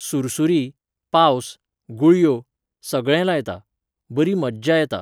सुरसुरीं, पावस, गुळयो, सगळें लायतां. बरी मज्जा येता